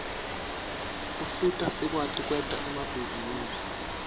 usita sikwati kwenta emabhizinisi